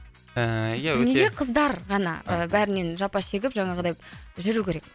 ыыы ия өте неге қыздар ғана і бәрінен жапа шегіп жаңағыдай жүру керек